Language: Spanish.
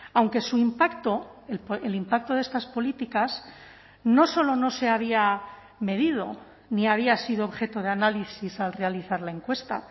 aunque su impacto el impacto de estas políticas no solo no se había medido ni había sido objeto de análisis al realizar la encuesta